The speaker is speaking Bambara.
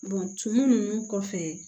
tumu ninnu kɔfɛ